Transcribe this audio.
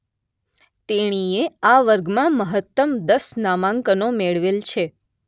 તેણીએ આ વર્ગમાં મહત્તમ દસ નામાંકનો મેળવેલ છે.